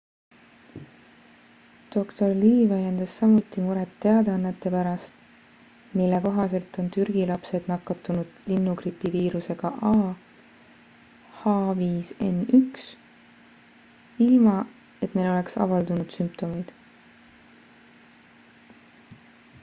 dr lee väljendas samuti muret teadannete pärast mille kohaselt on türgi lapsed nakatunud linnugripi viirusega ah5n1 ilma et neil oleks avaldunud sümptomeid